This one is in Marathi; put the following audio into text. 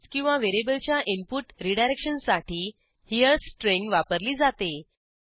टेक्स्ट किंवा व्हेरिएबलच्या इनपुट रीडायरेक्शनसाठी हेरे स्ट्रिंग वापरली जाते